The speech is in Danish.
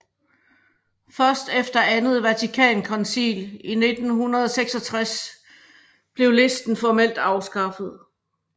Først efter Andet Vatikankoncil i 1966 blev listen formelt afskaffet